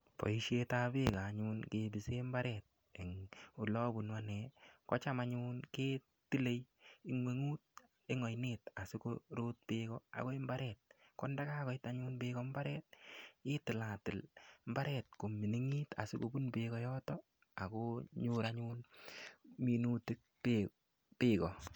Boisiet ab peko anyun kepise imbaret eng' ole apunu ane cham anyun ketile ing'weng'ut eng' oinet asikopun peko akoy imbaret kondakakoit peko anyun imbaret itilatil imbaret anyun komining'it asikopun peko yotok akonyor anyun minutik peko.